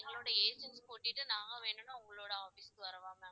எங்களோட agent கூட்டிட்டு நாங்க வேணுன்னா உங்களோட office க்கு வரவா ma'am